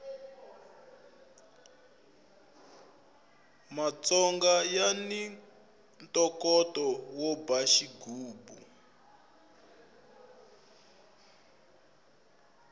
matsonga yani ntokoto wo ba xigubu